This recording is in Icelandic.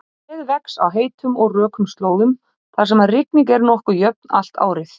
Tréð vex á heitum og rökum slóðum þar sem rigning er nokkuð jöfn allt árið.